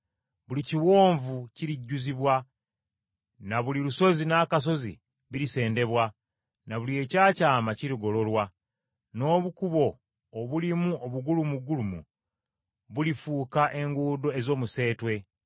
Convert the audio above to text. Buli kiwonvu kirijjuzibwa, na buli lusozi n’akasozi birisendebwa, na buli ekyakyama kirigololwa, n’obukubo obulimu obugulumugulumu bulifuuka enguudo ez’omuseetwe.